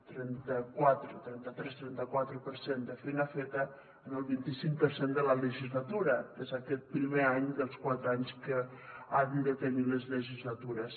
trenta tres trenta quatre per cent de feina feta en el vint icinc per cent de la legislatura que és aquest primer any dels quatre anys que han de tenir les legislatures